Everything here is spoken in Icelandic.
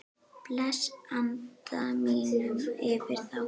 Blæs anda mínum yfir þá.